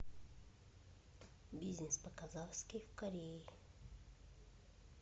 бизнес по казахски в корее